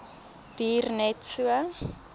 duur net so